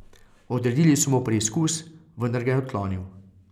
Odredili so mu preizkus, vendar ga je odklonil.